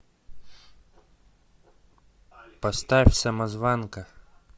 поставь самозванка